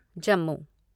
Jammu